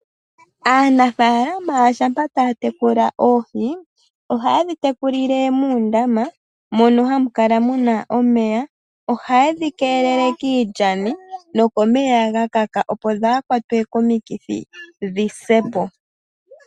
Aanafaalama shampa taya tekula oohi oha yeshi tekulile muundama mono hamu kala muna omeya. Oha yedhi keelele kiilyani nokomeya ga kaka opo kadhi kwatwe komikithi dhisepo.